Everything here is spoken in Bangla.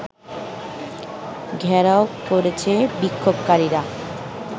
ঘেরাও করেছে বিক্ষোভকারীরা